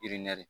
I nɛri